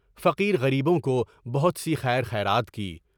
فقیر غریبوں کو بہت سی خیر خیرات کی۔